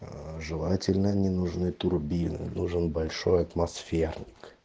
аа желательно не нужны турбины нужен большой атмосферник